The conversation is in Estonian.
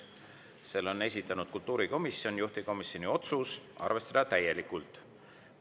Selle on esitanud kultuurikomisjon, juhtivkomisjoni otsus on arvestada täielikult.